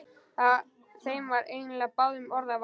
Þeim var eiginlega báðum orða vant.